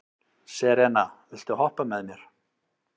Serena, viltu hoppa með mér?